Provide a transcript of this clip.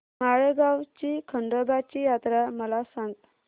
माळेगाव ची खंडोबाची यात्रा मला सांग